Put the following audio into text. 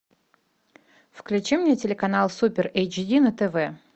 включи мне телеканал супер эйчди на тв